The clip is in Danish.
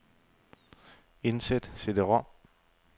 Indsæt cd-rom.